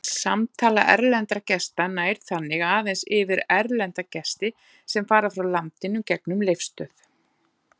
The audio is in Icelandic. Samtala erlendra gesta nær þannig aðeins yfir erlenda gesti sem fara frá landinu gegnum Leifsstöð.